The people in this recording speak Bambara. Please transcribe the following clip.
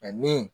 ni